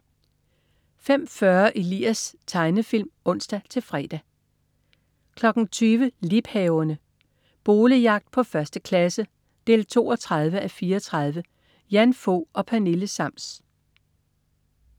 05.40 Elias. Tegnefilm (ons-fre) 20.00 Liebhaverne. Boligjagt på 1. klasse 32:34. Jan Fog og Pernille Sams